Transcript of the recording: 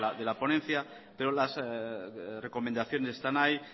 de la ponencia pero las recomendaciones están ahí